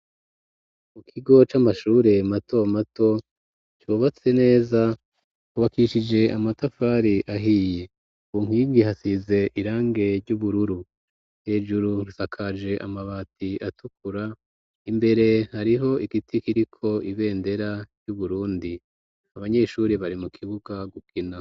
Mu kigo c'amashure mato mato cobatse neza kubakishije amatafari ahiye bunkwigi hasize irange ry'ubururu hejuru rusakaje amabati atukura imbere hariho igiti kiriko ibendera ry'uburundi abanyeshuri bari mu kibuka gukina.